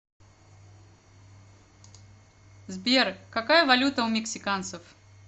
сбер какая валюта у мексиканцев